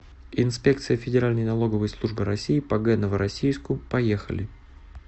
инспекция федеральной налоговой службы россии по г новороссийску поехали